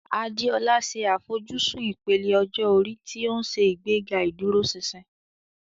Adeola ṣe àfojúsùn ìpele ọjọ́ orí tí ó ń ṣe ìgbéga ìdúróṣinṣin.